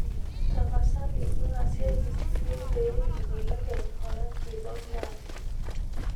tapasali ing'asieki ssiyie pii imbelekeny orangi loltaa